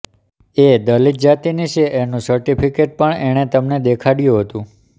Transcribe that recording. એ દલિત જાતિની છે એનું સર્ટિફિકેટ પણ એણે તમને દેખાડ્યું હતું